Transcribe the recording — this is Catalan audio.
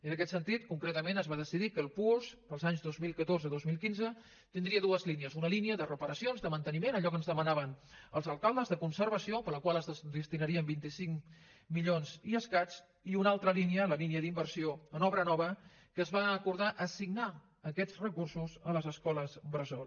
en aquest sentit concretament es va decidir que el puosc per als anys dos mil catorze i dos mil quinze tindria dues línies una línia de reparacions de manteniment allò que ens demanaven els alcaldes de conservació per la qual es destinarien vint cinc milions i escaig i una altra línia la línia d’inversió en obra nova que es va acordar assignar aquests recursos a les escoles bressol